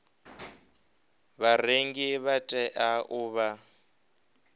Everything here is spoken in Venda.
vharengi vha tea u vha